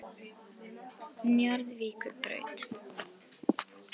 Njarðvíkurbraut